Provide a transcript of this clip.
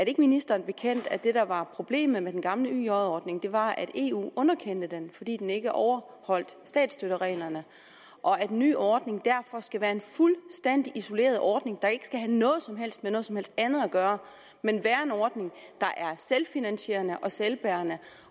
ikke ministeren bekendt at det der var problemet med den gamle yj ordning var at eu underkendte den fordi den ikke overholdt statsstøttereglerne og at en ny ordning derfor skal være en fuldstændig isoleret ordning der ikke skal have noget som helst med noget som helst andet at gøre men være en ordning der er selvfinansierende og selvbærende